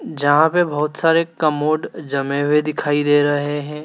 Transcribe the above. जहां पर बहोत सारे कमोड जमे हुए दिखाई दे रहे हैं।